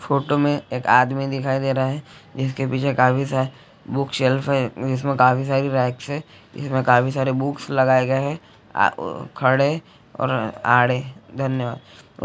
Photo में एक आदमी दिखाई दे रहा है जिसके पीछे काफी सारे बुक्स शेल्फ है जिसमें काफी सारे रैक है जिसमें काफी सारे बुक्स लगाए गए है खड़े और आड़े धन्यवाद।